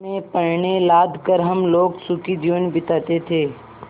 में पण्य लाद कर हम लोग सुखी जीवन बिताते थे